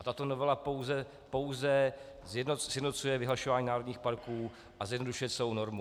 A tato novela pouze sjednocuje vyhlašování národních parků a zjednodušuje celou normu.